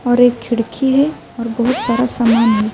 اور ایک کھڑکی ہے اور بھوت سارا سامان ہے۔